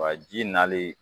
Wa ji nali